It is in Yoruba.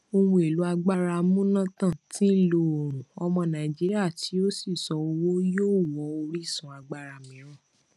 ohun èlò agbára amúnátàn tí ń lo oòrùn ọmọ nàìjíríà tí ó fi ṣọ owó yóò wọ orísun agbára mìíràn